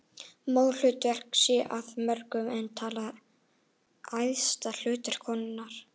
Móðurhlutverkið sé af mörgum enn talið æðsta hlutverk konunnar.